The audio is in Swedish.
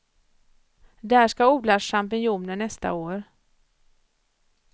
Där ska odlas champinjoner nästa år.